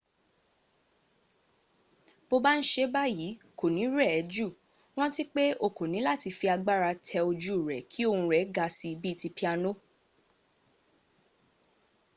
bó ba n ṣe báyí kò ní rẹ̀ ẹ́ jù rántí pé o kò níláti fi agbára tẹ ojú rẹ̀ kí ohun rẹ̀ ga síi bí ti piano